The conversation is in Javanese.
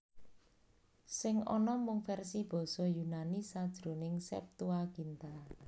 Sing ana mung versi basa Yunani sajroning Septuaginta